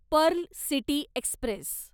Perl city Express